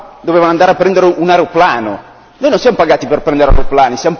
Lei ha dichiarato che queste persone dovevano andare a prendere un aeroplano.